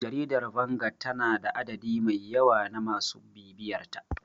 Jaridar Vanguard tana da adadi mai yawa na masu bibiyarta.